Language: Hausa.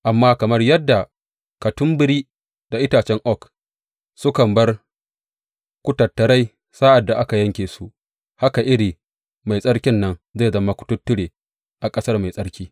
Amma kamar yadda katambiri da itacen oak sukan bar kututturai sa’ad da aka yanke su, haka iri mai tsarkin nan zai zama kututture a ƙasar mai tsarki.